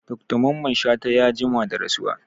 Dr mamman shata ya jima da rasuwa